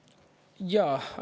Jaa.